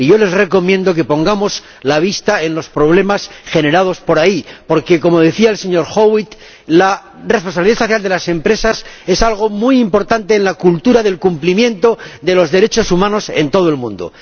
Yo les recomiendo que pongamos la vista en los problemas generados en este ámbito porque, como decía el señor Howitt, la responsabilidad social de las empresas es algo muy importante en la cultura del cumplimiento de los derechos humanos en todo el mundo.